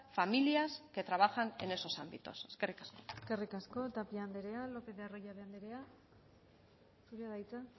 familias que trabajan en esos ámbitos eskerrik asko eskerrik asko tapia andrea lópez de arroyabe andrea zurea da hitza